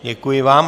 Děkuji vám.